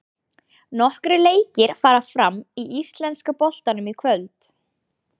Nokkrir leikir fara fram í íslenska boltanum í kvöld.